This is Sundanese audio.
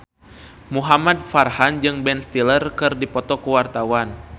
Muhamad Farhan jeung Ben Stiller keur dipoto ku wartawan